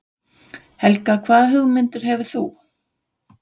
Helga: Hvaða hugmyndir hefurðu?